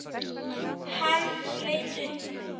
Hann leit upp.